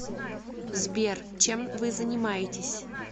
сбер чем вы занимаетесь